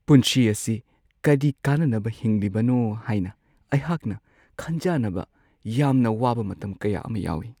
ꯄꯨꯟꯁꯤ ꯑꯁꯤ ꯀꯔꯤ ꯀꯥꯟꯅꯅꯕ ꯍꯤꯡꯂꯤꯕꯅꯣ ꯍꯥꯏꯅ ꯑꯩꯍꯥꯛꯅ ꯈꯟꯖꯥꯟꯅꯕ ꯌꯥꯝꯅ ꯋꯥꯕ ꯃꯇꯝ ꯀꯌꯥ ꯑꯃ ꯌꯥꯎꯋꯤ ꯫